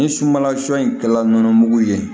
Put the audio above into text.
Ni sunbala sun in kɛla nɔnɔmugu ye